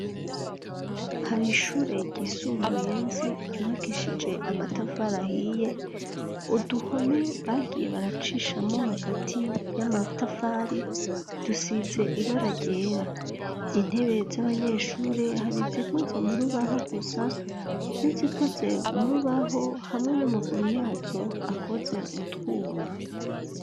Hari ishure gisumbuye nzi ryubakishije amatafari ahiye uduhome bagiye baracishamo hagati y'amatafari dusize ibararyera intebe z'abanyeshure hari zikoze mu rubaho gusa nizikoze mu rubahoh amwe n'amaguru yaco akoze mutwuma.